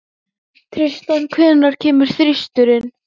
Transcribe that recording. Tristana, hvenær kemur þristurinn?